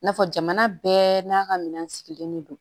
N'a fɔ jamana bɛɛ n'a ka minɛn sigilen de don